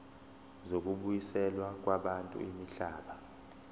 zokubuyiselwa kwabantu imihlaba